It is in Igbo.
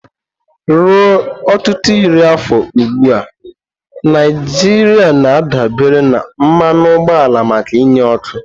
Ruo ọtụtụ iri afọ ugbu a, Naijiria na-adabere na mmanụ ụgbọala maka inye ọkụ.